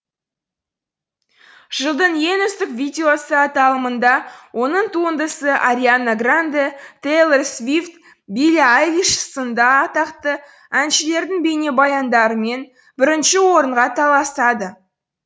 жылдың ең үздік видеосы аталымында оның туындысы ариана гранде тэйлор свифт билли айлиш сынды атақты әншілердің бейнебаяндарымен бірінші орынға таласады